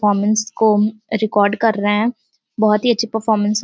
Performance को record कर रहे हैं। बोहोत ही अच्छी परफॉरमेंस --